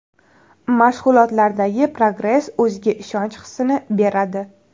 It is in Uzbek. Mashg‘ulotlardagi progress o‘ziga ishonch hissini beradi.